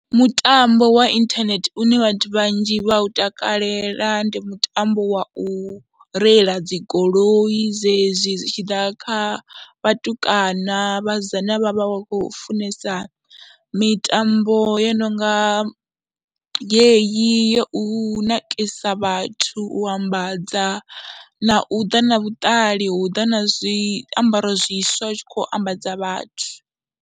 Mutambo wa inthanethe une vhathu vhanzhi vha u takalela ndi mutambo wa u reila dzi goloi zwezwi zwi tshi ḓa kha vhatukana, vhasidzana vha vha vha khou funesa mitambo yo no nga yeyi ya u nakisa vhathu, u ambadza na u ḓa na vhuṱali, na uu ḓa na zwiambaro zwiswa u tshi khou ambadza vhathu.